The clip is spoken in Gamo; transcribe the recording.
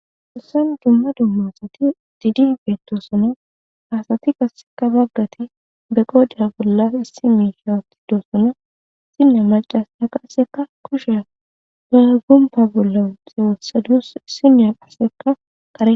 Hessan dumma dumma asati diidi beettosona ha asati qasseka baggati be qodhiya bolla issi miisha wothidosona issiniya maccasiya qasseka kusha ba gompa bolla wothadus issiniya qasseka kare.